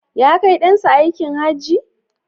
Ya kai ɗan sa aikin Hajji?